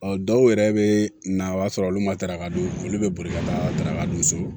Ɔ dɔw yɛrɛ bɛ na o y'a sɔrɔ olu ma daraka dun olu bɛ boli ka taarakadɔw sɔrɔ